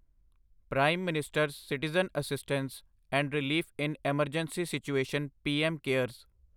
prime minister's citizen assistance and relief in emergency situation PM cares